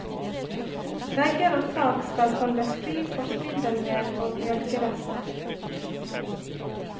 Vegger og tak skal holdes fri for spindelvev og mjølkerester.